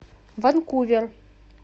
ванкувер